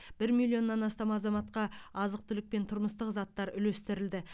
бір миллионнан астам азаматқа азық түлік пен тұрмыстық заттар үлестірілді